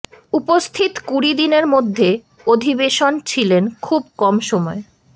উপস্থিত কুড়ি দিনের মধ্যে অধিবেশন ছিলেন খুব কম সময়ে